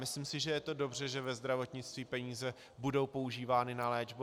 Myslím si, že to je dobře, že ve zdravotnictví peníze budou používány na léčbu.